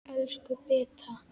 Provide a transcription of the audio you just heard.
Elsku Beta.